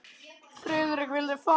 Friðrik vildi fara.